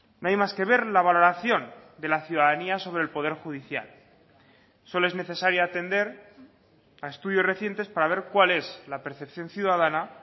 no hay más que ver la valoración de la ciudadanía sobre el poder judicial solo es necesario atender a estudios recientes para ver cuál es la percepción ciudadana